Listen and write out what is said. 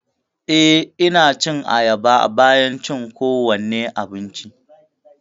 Eh, Ina cin ayaba bayan cin kowane abinci.